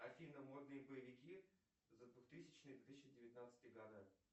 афина модные боевики за двухтысячный две тысячи девятнадцатый года